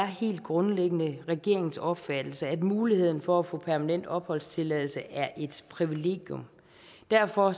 helt grundlæggende er regeringens opfattelse at muligheden for at få permanent opholdstilladelse er et privilegium derfor